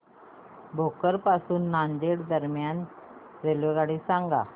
भोकर पासून नांदेड दरम्यान रेल्वेगाडी सांगा